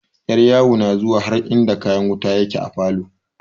Yaryawo na zuwa har inda kayan wuta yake a falo.